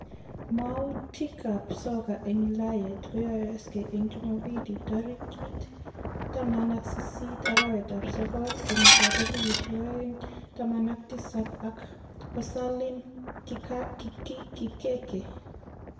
Mwoutiik ab soka en Ulayet koyoosie en chumombili tarikiit 18.06.2017 ak Osalim Kikeke.